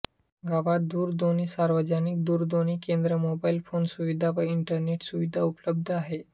गावात दूरध्वनीसार्वजनिक दूरध्वनी केंद्र मोबाईल फोन सुविधा व इंटरनेट सुविधा उपलब्ध आहे